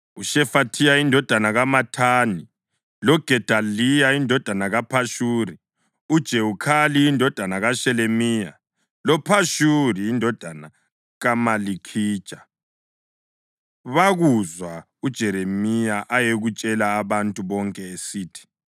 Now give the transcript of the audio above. UShefathiya indodana kaMathani, loGedaliya indodana kaPhashuri, uJewukhali indodana kaShelemiya, loPhashuri indodana kaMalikhija bakuzwa uJeremiya ayekutshela abantu bonke esithi,